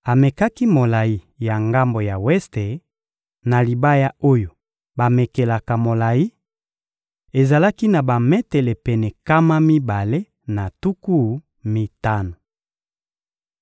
Amekaki molayi ya ngambo ya weste na libaya oyo bamekelaka molayi: ezalaki na bametele pene nkama mibale na tuku mitano.